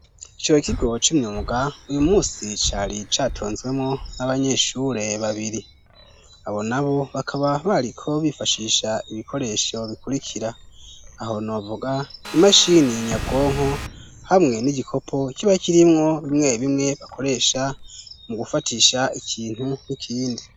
Ikiho kigo c'imyumbwnsi cari catonzwemo n'abanyeshure babiri abo nabo bakaba bariko bifashisha ibikoresho bikurikira aho nuvuga imashini nyabwonko hamwe n'igikopo kiba kirimwo bimwe bimwe bakoresha mu gufatisha ikintu n'ikindi.